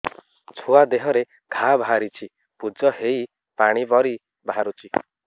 ଛୁଆ ଦେହରେ ଘା ବାହାରିଛି ପୁଜ ହେଇ ପାଣି ପରି ବାହାରୁଚି